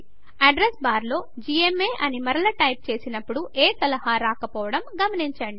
address bar లో GMA అని మరల టైప్ చేసినప్పుడు ఏ సలహా రాకపోవడం గమనించండి